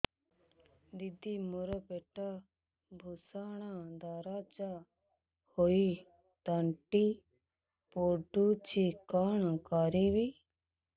ଦିଦି ମୋର ପେଟ ଭୀଷଣ ଦରଜ ହୋଇ ତଣ୍ଟି ପୋଡୁଛି କଣ କରିବି